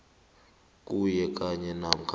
kuwe kanye namkha